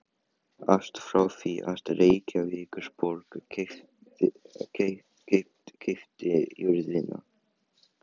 Allt frá því að Reykjavíkurborg keypti jörðina